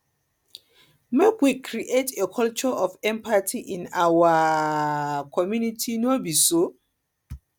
make we create a culture of empathy in our um community no be so